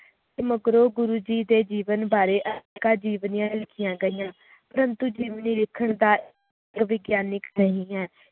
ਮਗਰੋਂ ਗੁਰੂ ਜੀ ਦੇ ਜੀਵਨ ਬਾਰੇ ਕਈ ਜੀਵਨੀਆਂ ਲਿਖੀਆਂ ਗਈਆਂ ਜੀਵਨੀ ਲਿਖਣ ਦਾ ਵਿਗਿਆਨਿਕ ਨਹੀਂ ਹੈ